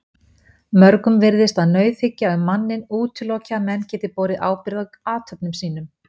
Mörgum virðist að nauðhyggja um manninn útiloki að menn geti borið ábyrgð á athöfnum sínum.